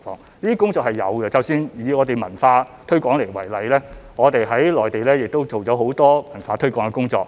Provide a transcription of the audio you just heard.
這些工作是有做的，以我們的文化推廣為例，我們在內地做了很多這方面的工作。